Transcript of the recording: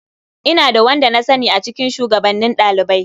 Ina da wanda na sani a cikin shugabannin ɗalibai.